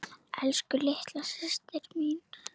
Elsku, litla systir mín.